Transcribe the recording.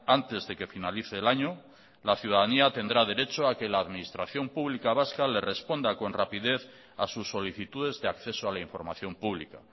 antes de que finalice el año la ciudadanía tendrá derecho a que la administración pública vasca le responda con rapidez a sus solicitudes de acceso a la información pública